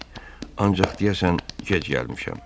Ancaq deyəsən gec gəlmişəm.